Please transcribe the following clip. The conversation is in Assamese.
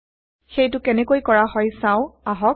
সেইটো কেনেকৈ কৰা হয় চাও আহক